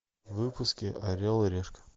выпуски орел и решка